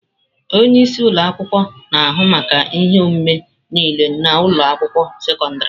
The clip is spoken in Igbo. Onye isi ụlọ akwụkwọ na-ahụ maka ihe omume niile na ụlọ akwụkwọ sekọndrị.